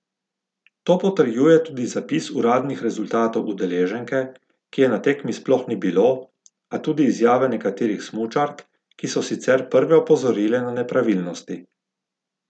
To potrjuje tudi zapis uradnih rezultatov udeleženke, ki je na tekmi sploh ni bilo, a tudi izjave nekaterih smučark, ki so sicer prve opozorile na nepravilnosti.